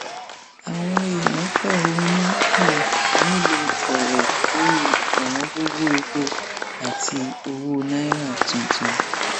àwọn èèyàn fẹhónú hàn nílùú ọrẹ lórí ọwọngọgọ epo àti owó náírà tuntun